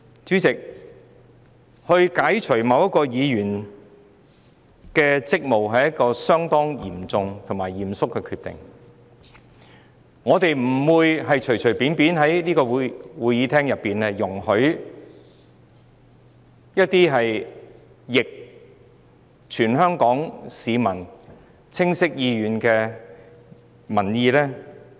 主席，要解除某一議員的職務，是一項相當嚴重和嚴肅的決定，我們不能隨便在這議事廳通過一些有違全港市民清晰意願的建議。